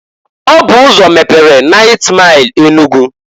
Ọ bụ ụzọ mepere 9th Maịl Enugu.